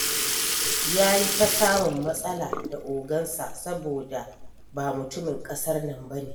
Ya yi ta samun matsala da ogansa, saboda ba mutumin ƙasar nan ba ne.